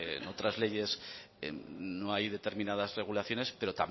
en otras leyes no hay determinadas regulaciones pero